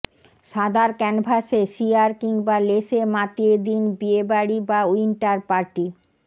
সাদার ক্যানভাসে শিয়ার কিংবা লেসে মাতিয়ে দিন বিয়েবাড়ি বা উইন্টার পার্টি